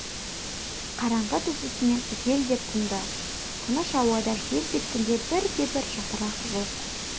қараңғы түсісімен жел де тынды тыныш ауада желп еткен бірде-бір жапырақ жоқ